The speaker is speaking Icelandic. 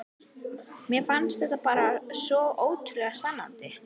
Mér fannst þetta bara svo ótrúlega spennandi.